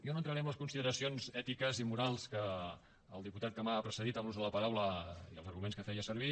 jo no entraré en les consideracions ètiques i morals del diputat que m’ha precedit en l’ús de la paraula ni els arguments que feia servir